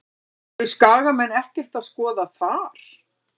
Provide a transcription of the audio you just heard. Eru Skagamenn ekkert að skoða þar?